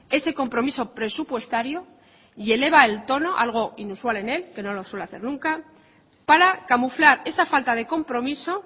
ese compromiso presupuestario y eleva el tono algo inusual en él que no lo suele hacer nunca para camuflar esa falta de compromiso